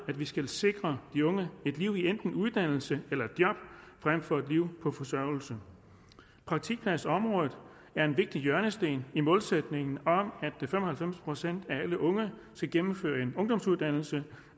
at vi skal sikre de unge et liv i enten uddannelse eller job frem for et liv på forsørgelse praktikpladsområdet er en vigtig hjørnesten i målsætningen om at fem og halvfems procent af alle unge skal gennemføre en ungdomsuddannelse